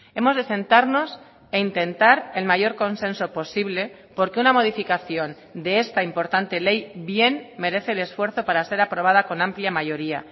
hemos de sentarnos e intentar el mayor consenso posible porque una modificación de esta importante ley bien merece el esfuerzo para ser aprobada con amplia mayoría